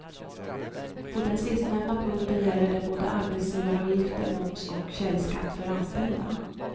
På den sistnämnda punkten gäller det både arbetsgivaravgifter, moms och källskatt för anställda.